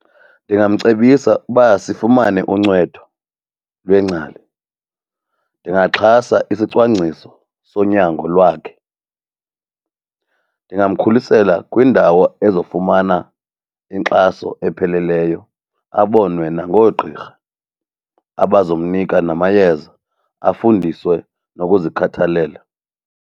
Ndingamcebisa ukuba sifumane uncedo lwengcali, ndingaxhasa isicwangciso sonyango lwakhe, ndingamkhulisela kwindawo ezofumana inkxaso epheleleyo abonwe nangoogqirha abazomnika namayeza, afundiswe nokuzikhathalela.